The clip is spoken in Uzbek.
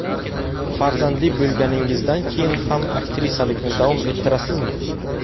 Farzandli bo‘lganingizdan keyin ham aktrisalikni davom ettirasizmi?